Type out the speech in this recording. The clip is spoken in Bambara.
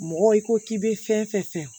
Mɔgɔ i ko k'i bɛ fɛn fɛn